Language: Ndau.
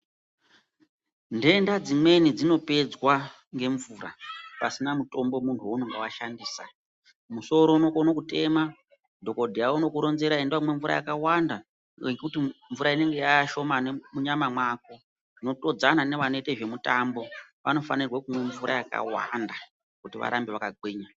Ndenda dzimweni dzinopedzwa ngemvura pasina mutombo munhu waunenge washandisa musoro unokone kutema, dhokodheya unokuronzera, enda unomwa mvura yakawanda nekuti mvura inenge yaashomani munyama mwako, unotodzana newanoita nezvemutambo, wanofanirwa kuti wamwe mvura yakawanda kuti warambe wakagwinya.